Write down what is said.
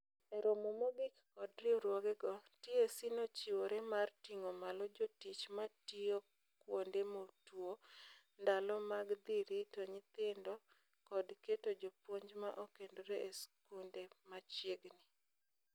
E romo mogik kod riwruoge go, TSC nochiwore mar ting'o malo jotich matio kwonde motuo, ndalo mag dhi rito nyitndo kod keto jopuonj ma okendre e skunde machiegni.